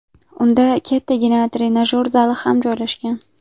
Unda kattagina trenajyor zali ham joylashgan.